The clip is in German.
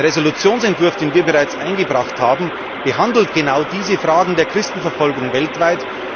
Der Entschließungsentwurf, den wir bereits eingebracht haben, behandelt genau diese Fragen der Christenverfolgung weltweit.